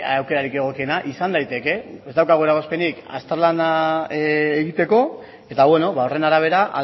aukerarik egokiena izan daiteke ez daukagula eragozpenik azterlana egiteko eta horren arabera